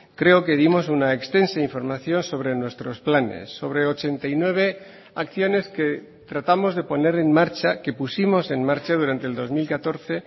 creo que dimos una extensa información sobre nuestros planes sobre ochenta y nueve acciones que tratamos de poner en marcha que pusimos en marcha durante el dos mil catorce